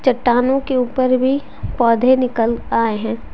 चट्टानों के ऊपर भी पौधे निकल आए हैं।